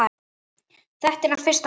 Þetta er hans fyrsta bók.